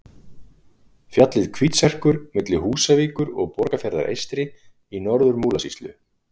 Fjallið Hvítserkur milli Húsavíkur og Borgarfjarðar eystri í Norður-Múlasýslu.